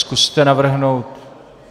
Zkuste navrhnout...